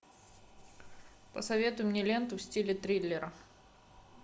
посоветуй мне ленту в стиле триллера